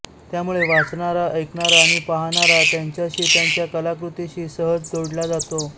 त्यामुळे वाचणारा ऐकणारा आणि पाहणारा त्यांच्याशी त्यांच्या कलाकृतीशी सहज जोडला जातो